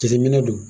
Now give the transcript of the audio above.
Jateminɛ don